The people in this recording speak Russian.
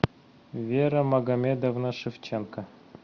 вера магомедовна шевченко